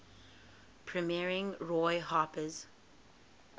premiering roy harper's